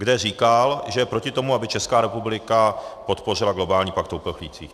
, kde říkal, že je proti tomu, aby Česká republika podpořila globální pakt o uprchlících.